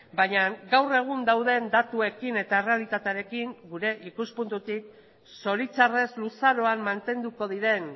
baina gaur egun dauden datuekin eta errealitatearekin gure ikuspuntutik zoritzarrez luzaroan mantenduko diren